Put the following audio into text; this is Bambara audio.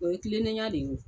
O ye tilennenya de ye o